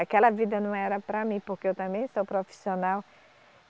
Aquela vida não era para mim, porque eu também sou profissional.